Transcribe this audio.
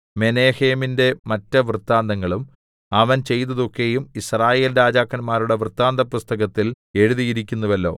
മെനഹേമിന്റെ മറ്റ് വൃത്താന്തങ്ങളും അവൻ ചെയ്തതൊക്കെയും യിസ്രായേൽ രാജാക്കന്മാരുടെ വൃത്താന്തപുസ്തകത്തിൽ എഴുതിയിരിക്കുന്നുവല്ലോ